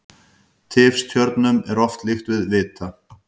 Tifstjörnum er oft líkt við vita.